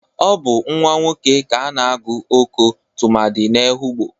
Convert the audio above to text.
Ọ bụ nwa nwoke ka a na-agụ Oko tụmadị n'Ehụgbọ.